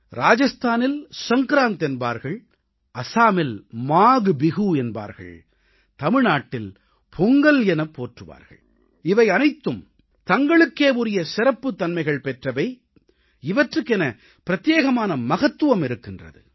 ராஜஸ்தானில் சங்க்ராந்த் என்பார்கள் அசாமில் மாக்பிஹூ என்பார்கள் தமிழ்நாட்டில் பொங்கல் எனப் போற்றுவார்கள் இவை அனைத்தும் தங்களுக்கே உரிய சிறப்புத்தன்மைகள் பெற்றவை இவற்றுக்கென பிரத்யேகமான மகத்துவம் இருக்கின்றது